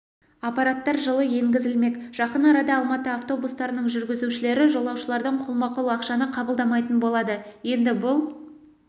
аппараттар жылы енгізілмек жақын арада алматы автобустарының жүргізушілері жолаушылардан қолма-қол ақшаны қабылдамайтын болады енді бұл